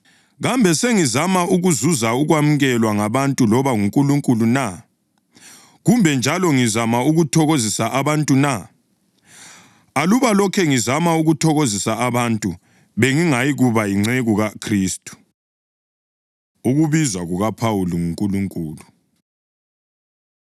Kambe sengizama ukuzuza ukwamukelwa ngabantu loba nguNkulunkulu na? Kumbe njalo ngizama ukuthokozisa abantu na? Aluba lokhe ngizama ukuthokozisa abantu, bengingayikuba yinceku kaKhristu. Ukubizwa KukaPhawuli NguNkulunkulu